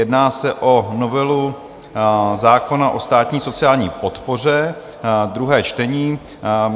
Jedná se o novelu zákona o státní sociální podpoře, druhé čtení.